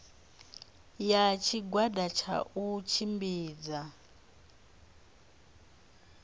ya tshigwada tsha u tshimbidza